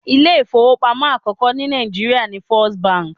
Ilé ifowopamo àkọ́kọ́ ní Naijiria ni First bank.